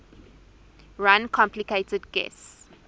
run complicated guis